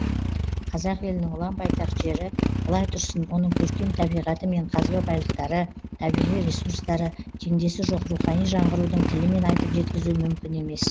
қазақ елінің ұлан байтақ жері былай тұрсын оның көркем табиғаты мен қазба байлықтары табиғи ресурстары теңдесі жоқ рухани жанғырудың тілімен айтып жеткізу мүмкін емес